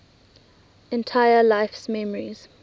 entire life's memories